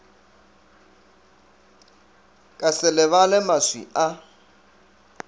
ka se lebale maswi a